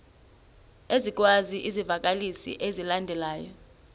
ezikwezi zivakalisi zilandelayo